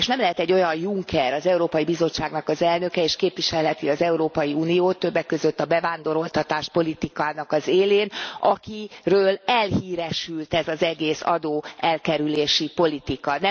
És nem lehet egy olyan Juncker az Európai Bizottságnak az elnöke, és képviselheti az Európai Uniót, többek között a bevándoroltatás politikának az élén, akiről elhíresült ez az egész adóelkerülési politika.